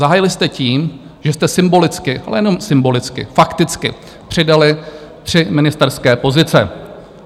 Zahájili jste tím, že jste symbolicky, ale nejenom symbolicky, fakticky přidali tři ministerské pozice.